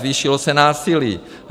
Zvýšilo se násilí.